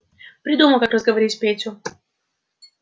придумал как разговорить петю